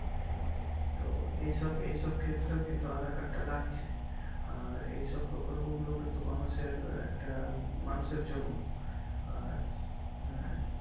হুম তো এই সব এই সব ক্ষেতেও কিন্তু aadhaar card তাও লাগছে আর এই সব কিন্তু মানুষের একটা মানুষের জন্য আঃ আঃ